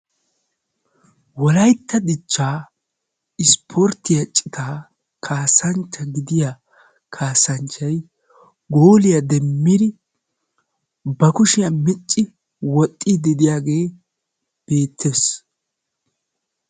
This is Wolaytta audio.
wolaytta dichchaa ispportiya citaa kaasanchcha gidiya kaasanchchay gooliya demmidi ba kushiya micci woxiidi diyaagee beetees.